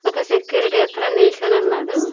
ఒక సెక్యూరిటీ అతను నిల్సోనున్నాడు .